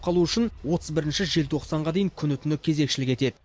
қалу үшін отыз бірінші желтоқсанға дейін күні түні кезекшілік етеді